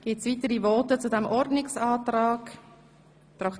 Gibt es weitere Voten zu diesem Ordnungsantrag?